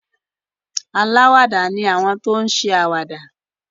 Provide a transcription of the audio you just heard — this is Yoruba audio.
Alàwàdá ni àwọn tí o n ṣe àwàdà